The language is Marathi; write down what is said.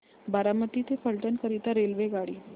बारामती ते फलटण करीता रेल्वेगाडी